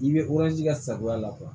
I bɛ ka sarigoya la